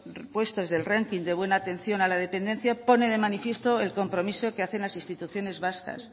puestos del ranking de buena atención a la dependencia pone de manifiesto el compromiso que hacen las instituciones vascas